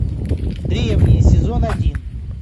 древние сезон один